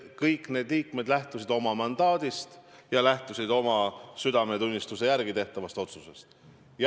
Kõik need liikmed lähtusid oma mandaadist ja tegid oma südametunnistuse järgi otsuse.